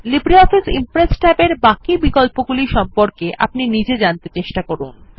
Libre office impress ট্যাবের বাকি বিকল্পগুলি সম্পর্কে আপনি নিজে জানতে চেষ্টা করুন